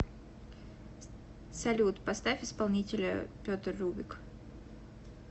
салют поставь исполнителя петр рубик